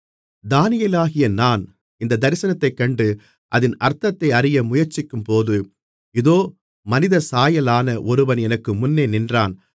தானியேலாகிய நான் இந்தத் தரிசனத்தைக்கண்டு அதின் அர்த்தத்தை அறிய முயற்சிக்கும்போது இதோ மனிதசாயலான ஒருவன் எனக்கு முன்னே நின்றான்